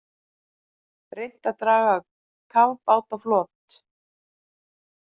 Reynt að draga kafbát á flot